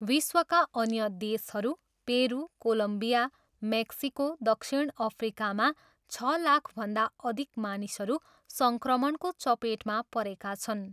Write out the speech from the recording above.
विश्वका अन्य देशहरू पेरू, कोलम्बिया, मेक्सिको, दक्षिण अफ्रिकामा छ लाखभन्दा अधिक मानिसहरू सङ्क्रमणको चपेटमा परेका छन्।